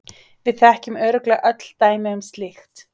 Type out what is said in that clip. Við þekkjum örugglega öll dæmi um slíkt.